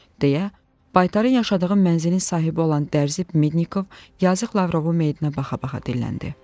deyə, baytarı yaşadığım mənzilin sahibi olan dərzi Mednikov yazıq Lavrovu meyidinə baxa-baxa dilləndi.